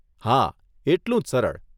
હા, એટલું જ સરળ.